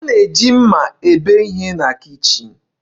A na-eji mma ebe ihe na kichin.